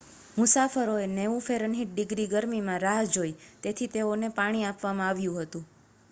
મુસાફરોએ 90 ફે. - ડિગ્રી ગરમીમાં રાહ જોઈ તેથી તેઓને પાણી આપવામાં આવ્યું હતું